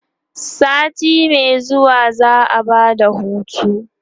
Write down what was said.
sati Mai zuwa za'a Bada hutu